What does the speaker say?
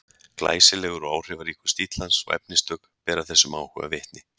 glæsilegur og áhrifaríkur stíll hans og efnistök bera þessum áhuga vitni